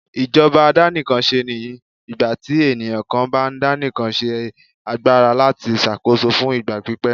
ìjọba àdàníkánsé ní ìgbàtí eniyan kan bá daníkán ní agbara latí ṣàkóso fún ìgbà pípẹ́.